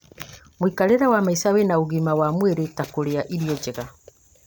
mũikarĩre wa maica wĩna ũgima wa mwĩrĩ ta kũrĩa irio njega